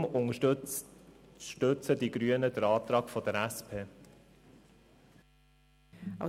Deshalb unterstützen die Grünen den Antrag der SP-JUSO-PSA.